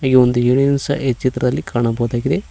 ಈ ಒಂದು ಈ ಚಿತ್ರದಲ್ಲಿ ಕಾಣಬಹುದಾಗಿದೆ.